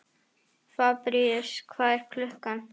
Fabrisíus, hvað er klukkan?